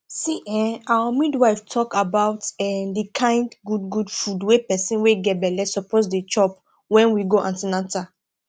see[um]our midwife talk about um the kind good good food wey person wey get belle suppose dey chop wen we go an ten atal